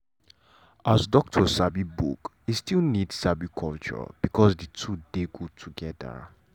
as doctor sabi book e still need sabi culture because the two dey good together.